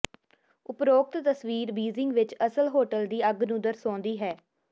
ਉਪਰੋਕਤ ਤਸਵੀਰ ਬੀਜਿੰਗ ਵਿੱਚ ਅਸਲ ਹੋਟਲ ਦੀ ਅੱਗ ਨੂੰ ਦਰਸਾਉਂਦੀ ਹੈ